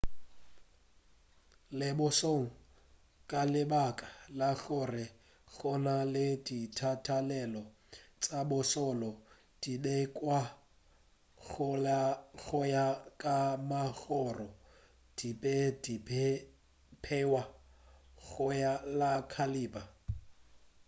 le bošoleng ka lebaka la gore go na le ditatelano tša bošole di beiwa go ya ka magoro di be di beiwa go ya ka cailaber